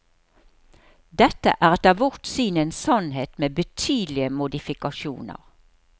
Dette er etter vårt syn en sannhet med betydelige modifikasjoner.